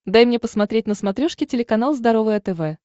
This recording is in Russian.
дай мне посмотреть на смотрешке телеканал здоровое тв